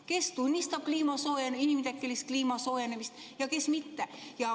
Kes tunnistab inimtekkelist kliima soojenemist ja kes mitte.